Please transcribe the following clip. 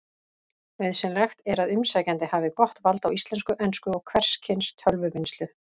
Nauðsynlegt er að umsækjandi hafi gott vald á íslensku, ensku og hvers kyns tölvuvinnslu.